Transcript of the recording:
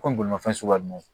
Komi bolimafɛn suguya ninnu